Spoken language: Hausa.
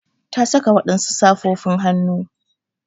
Ta saka wadansu safofin hannu.